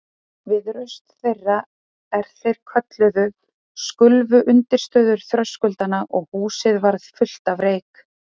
Við raust þeirra, er þeir kölluðu, skulfu undirstöður þröskuldanna og húsið varð fullt af reyk.